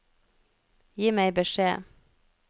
Gi meg beskjed